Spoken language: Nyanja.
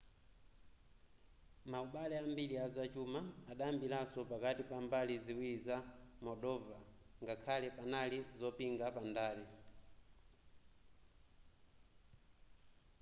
maubale ambiri azachuma adayambiranso pakati pa mbali ziwiri za moldova ngakhale panali zopinga pandale